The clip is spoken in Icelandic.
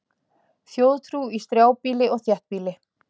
Þjóðtrú í strjálbýli og þéttbýli